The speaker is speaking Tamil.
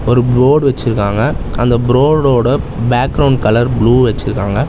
ஒரு போர்டு வச்சிருக்காங்க அந்த ப்ரோடோட பேக்ரவுண்ட் கலர் ப்ளூ வச்சிருக்காங்க.